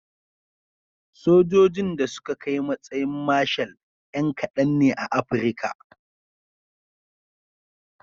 Sojojin da suka kai matsayin marshal 'yna kadan ne a Afirka.